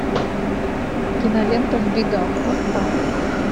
кинолента в бегах поставь